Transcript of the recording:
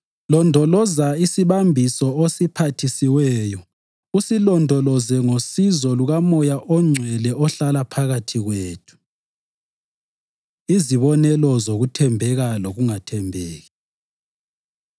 Londoloza isibambiso osiphathisiweyo usilondoloze ngosizo lukaMoya oNgcwele ohlala phakathi kwethu. Izibonelo Zokuthembeka Lokungathembeki